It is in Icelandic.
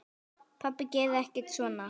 Pabbi gerði ekkert svona.